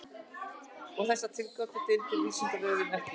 Um þessar tilgátur deilir Vísindavefurinn ekki.